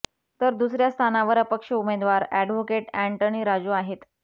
तर दुसऱ्या स्थानावर अपक्ष उमेदवार अॅडव्होकेट अँटनी राजू आहेत